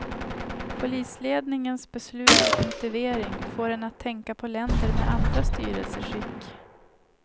Polisledningens beslut och motivering får en att tänka på länder med andra styrelseskick.